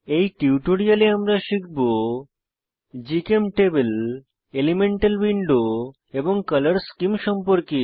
এই টিউটোরিয়ালে আমরা শিখব জিচেমটেবল এলিমেন্টাল উইন্ডো এবং কলর স্কীম সম্পর্কে